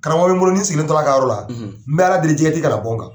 Karamɔgɔ sigilen tora ka yɔrɔ la , n bɛ ala deli ka bɔ kan.